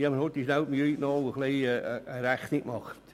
Ich habe mir kurz die Mühe gemacht, eine Rechnung anzustellen.